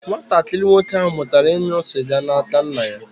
Nwatakịrị nwoke ahụ mụtara ịṅụ sịga n'aka nna ya.